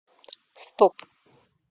стоп